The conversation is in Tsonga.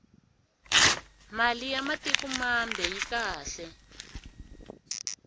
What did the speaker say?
mali ya matik mambe yi kahle